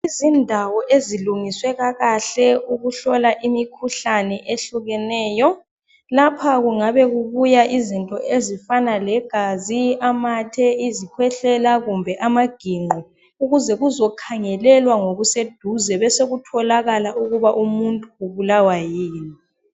Izindawo ezilungiswe kakahle ukuhlola imikhuhlane ehlukeneyo lapha kungabe kubuya izinto ezifana legazi amathe izikhwehlela kumbe amaginqo ukuze kuzokhangelelwa ngokuseduze besokutholakala ukuba umuntu ubulawa yini.